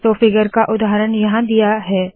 तो फिगर का उदाहरण यहाँ दिया है